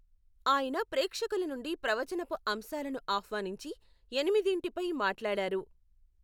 ఆయన ప్రేక్షకుల నుండి ప్రవచనపు అంశాలను ఆహ్వానించి, ఎనిమిదింటిపై మాట్లాడారు.